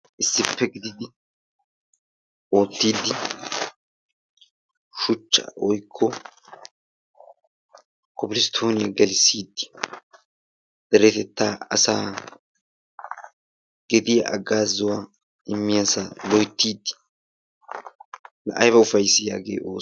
Issippe gididi oottissiiddi shuchchaa woykko kobilisttooniya gelissiiddi deretettaa asaa gediya haggaazuwa immiyasa loyttiiddi la ayba ufayissii hagee oosoy.